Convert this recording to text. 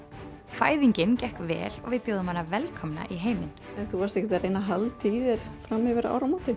fæðingin gekk vel og við bjóðum hana velkomna í heiminn þú varst ekkert að reyna að halda í þér fram yfir áramótin